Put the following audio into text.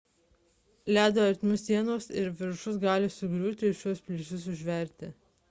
ledo ertmių sienos ir viršus gali sugriūti ir šiuos plyšius užversti